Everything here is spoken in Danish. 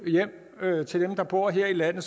det til dem der bor her i landet